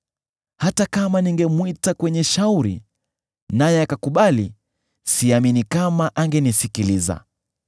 Hata kama ningemwita kwenye shauri, naye akakubali, siamini kama angenisikiliza.